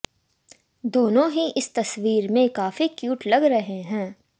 दोनों ही इस तस्वीर में काफी क्यूट लग रहे हैं